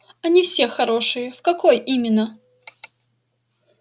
они все хорошие в какой именно